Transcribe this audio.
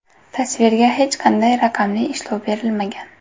Tasvirga hech qanday raqamli ishlov berilmagan.